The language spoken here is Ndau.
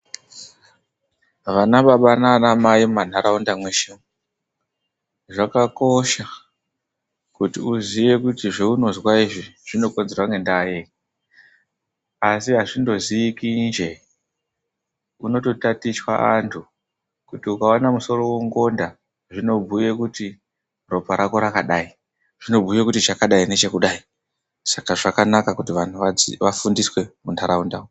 Vana baba nanamai mumanharaunda mweshe umu zvakakosha kuti uziye kuti zvounozwa izvi zvinombokonzerwa ngendaa yei asi hazvingonzwiki nje kunotofundiswa anhu kuti ukaona musoro wongonda zvinobhuye kuti ropa rako rakadai, zvinobhuye kuti chakadai nechekudai. Saka zvakanaka kuti vanhu vafundiswe munharaunda umu.